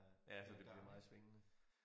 Ja så det bliver meget svingende